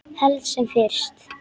Helst sem fyrst.